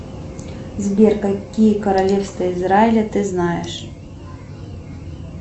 сбер какие королевства израиля ты знаешь